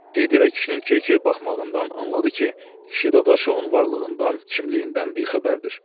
Dedi və kişinin keykey baxmağından anladı ki, kişi Dadaşovun varlığından, kimliyindən bixəbərdir.